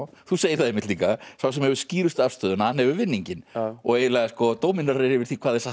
þú segir það líka sá sem hefur skýrustu afstöðuna hann hefur vinninginn og eiginlega dóminerar yfir því hvað er satt og